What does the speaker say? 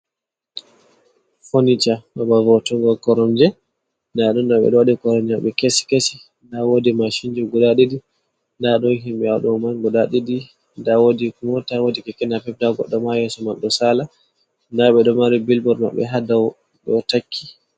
Fonita, babal vo'utungo koromje. Ndaɗeɗo be do wadi koronje be kesi keshi. Nda wodi mashinji guda ɗiɗi, Nda don himɓe ha doman guda didi, nda wodi mota, wodi keke napep, nda goddo ma yeso man do sala nda ɓeɗo mari bilbot maɓɓe ha dowt ɗoa takki.